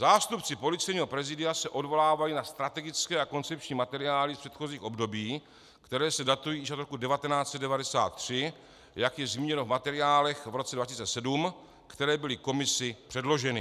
Zástupci Policejního prezidia se odvolávají na strategické a koncepční materiály z předchozích období, které se datují již od roku 1993, jak je zmíněno v materiálech v roce 2007, které byly komisi předloženy.